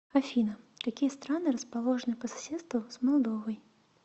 афина какие страны расположены по соседству с молдовой